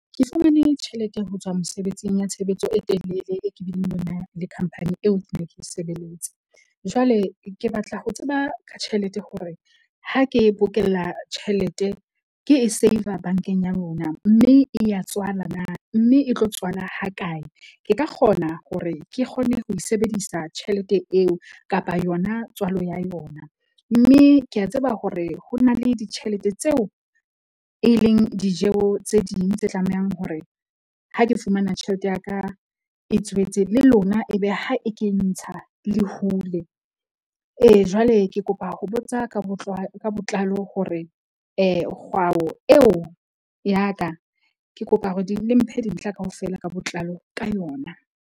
Ke fumane tjhelete ho tswa mosebetsing ya tshebetso e telele, e ke bileng le yona le khampani eo ke neng ke e sebeletsa. Jwale ke batla ho tseba ka tjhelete hore ha ke bokella tjhelete ke e save-a bank-eng ya lona, mme e ya tswala na mme e tlo tswala ha kae? Ke ka kgona hore ke kgone ho e sebedisa tjhelete eo kapa yona tswalo ya yona, mme ke a tseba hore ho na le ditjhelete tseo e leng dijo tse ding tse tlamehang hore ha ke fumana tjhelete ya ka e tswetse le lona, ebe ha e ke ntsha le hule. Ee, Jwale ke kopa ho botsa ka ka botlalo hore kgwao eo ya ka ke kopa hore le mphe dintlha kaofela ka botlalo ka yona.